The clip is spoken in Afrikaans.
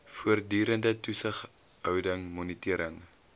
voortdurende toesighouding monitering